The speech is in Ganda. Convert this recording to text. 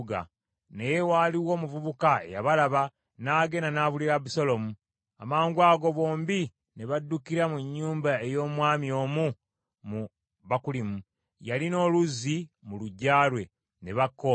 Naye waaliwo omuvubuka eyabalaba, n’agenda n’abuulira Abusaalomu. Amangwago bombi ne baddukira mu nnyumba ey’omwami omu mu Bakulimu. Yalina oluzzi mu luggya lwe; ne bakka omwo.